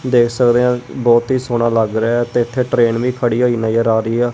ਦੇਖ ਸਕਦੇ ਹਾਂ ਬੋਹਤ ਹੀ ਸੋਹਣਾ ਲੱਗ ਰਿਹਾ ਹੈ ਤੇ ਇੱਥੇ ਟ੍ਰੇਨ ਵੀ ਖੜੀ ਹੋਈ ਨਜਰ ਆ ਰਹੀ ਆ।